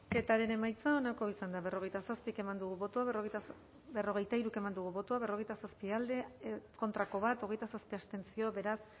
bozketaren emaitza onako izan da berrogeita hiru eman dugu bozka berrogeita zazpi boto alde bat contra hogeita zazpi abstentzio beraz